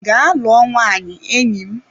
Gaa lụọ nwaanyị enyi m!